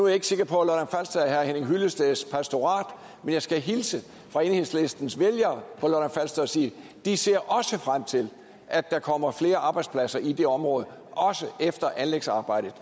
jeg ikke sikker på at hyllesteds pastorat men jeg skal hilse fra enhedslistens vælgere på lolland falster og sige at de ser frem til at der kommer flere arbejdspladser i det område også efter at anlægsarbejdet